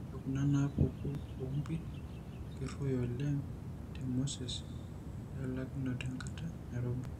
Ore kunanaapuku oompit keruoyo oleng temasoesi oelaakinoto enkata nairobi.